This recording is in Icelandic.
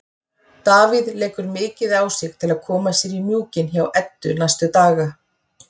Davíð leggur mikið á sig til að koma sér í mjúkinn hjá Eddu næstu daga.